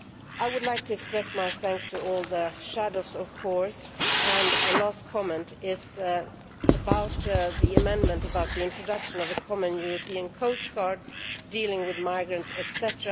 I would like to express my thanks to all the shadows, of course, and a last comment is about the amendment about the introduction of a common European coastguard dealing with migrants, etc.